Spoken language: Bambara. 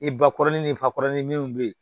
I bakɔrɔnin ni bakɔrɔnin minnu bɛ ye